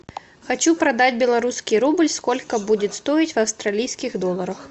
хочу продать белорусский рубль сколько будет стоить в австралийских долларах